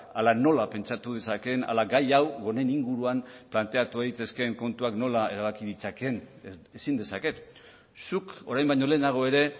ala nola pentsatu dezakeen ala gai hau honen inguruan planteatu daitezken kontuak nola erabaki ditzakeen ezin dezaket zuk orain baino lehenago ere